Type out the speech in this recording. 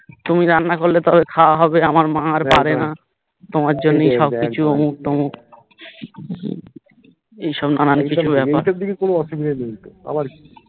তুমি রান্না করলে তাহলে খাওয়া হবে আমার মা আর পারেনা তোমার জন্যেই সবকিছু অমুখ তমুখ এইসব নানান কিছু ব্যাপার এইটারদিকে কোনো অসুবিধা নেই তো আবার কি